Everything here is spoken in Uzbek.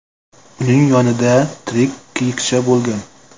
Uning yonida tirik kiyikcha bo‘lgan.